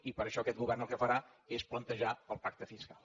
i per això aquest govern el que farà és plantejar el pacte fiscal